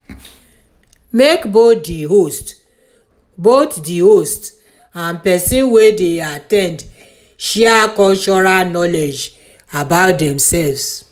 make both the host both the host and persin wey de at ten d share cultural knowledge about themselves